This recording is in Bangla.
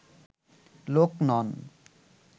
লোক নন